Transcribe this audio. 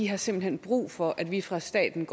har simpelt hen brug for at vi fra statens